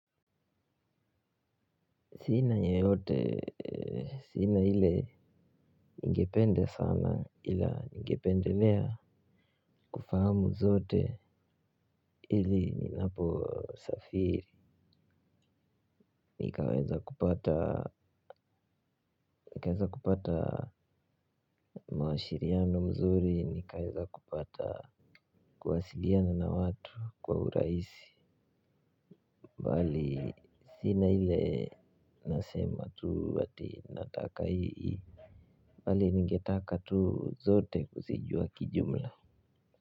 Sina yeyote sina hile ngependa sana ila ngependelea kufahamu zote ili ninapo safiri nikaweza kupata maashiriano mzuri nikaeza kupata kuwasiliana na watu kwa uraisi mbali sina ile nasema tu ati nataka hii bali ningetaka tu zote kuzijua kijumla.